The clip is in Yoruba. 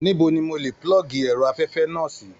Níbo ni mò lè pulọgi ẹrọ afẹfẹ náà sì?